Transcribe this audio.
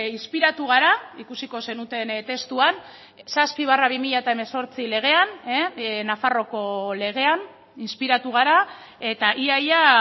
inspiratu gara ikusiko zenuten testuan zazpi barra bi mila hemezortzi legean nafarroako legean inspiratu gara eta ia ia